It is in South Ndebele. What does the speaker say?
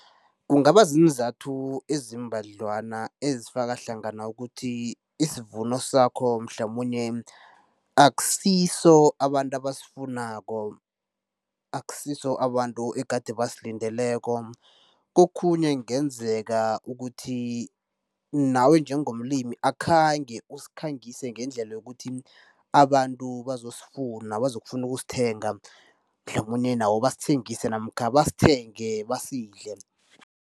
Kungaba ziinzathu eziimbadlwana ezifaka hlangana ukuthi isivuno sakho mhlamunye akusiso abantu abasifunako, akusiso abantu egade basilindileko. Kokhunye kungenzeka ukuthi nawe njengomlimi akhange usikhangise ngendlela yokuthi abantu bazosifuna, bazokufuna ukusithenga, mhlamunye nabo basithengise namkha basithenge basidle.